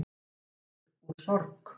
geta dáið úr sorg